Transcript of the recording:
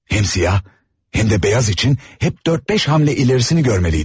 Həm siyah, həm də beyaz üçün hep dörd-beş hamle ilerisini görməliydim.